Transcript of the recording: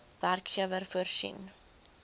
werkgewer voorsien